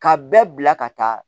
Ka bɛɛ bila ka taa